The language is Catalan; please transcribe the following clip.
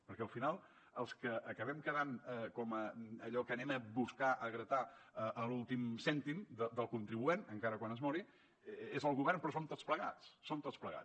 perquè al final els que acabem quedant com allò que anem a buscar a gratar l’últim cèntim del contribuent encara quan es mori és el govern però som tots plegats som tots plegats